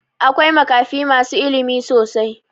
Akwai makafi masu ilimi sosai.